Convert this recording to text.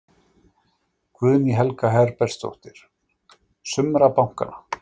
Guðný Helga Herbertsdóttir: Sumra bankanna?